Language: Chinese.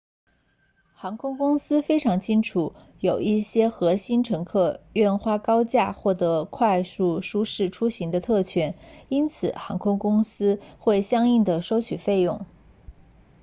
航空公司非常清楚有一些核心乘客愿花高价获得快速舒适出行的特权因此航空公司会相应地收取费用